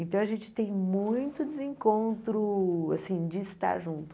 Então, a gente tem muito desencontro, assim, de estar junto.